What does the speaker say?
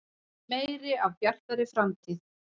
Meira af Bjartri framtíð.